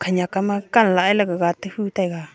khanyak kama kan lah e gaga te hu taiga.